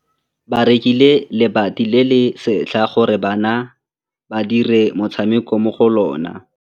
Ba rekile lebati le le setlha gore bana ba dire motshameko mo go lona.